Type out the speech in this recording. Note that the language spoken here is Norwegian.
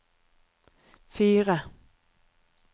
fire